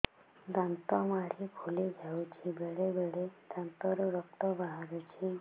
ଦାନ୍ତ ମାଢ଼ି ଫୁଲି ଯାଉଛି ବେଳେବେଳେ ଦାନ୍ତରୁ ରକ୍ତ ବାହାରୁଛି